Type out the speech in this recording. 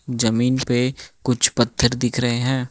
जमीन पे कुछ पत्थर दिख रहे हैं।